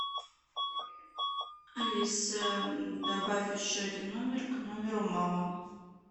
алиса добавь еще один номер к номеру мама